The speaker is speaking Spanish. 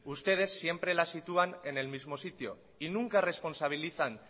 ustedes siempre las sitúan en el mismo sitio y nunca responsabilizan